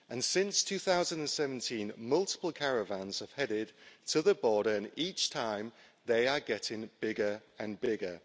Since 2017, multiple caravans have headed to the border, and each time they are getting bigger and bigger.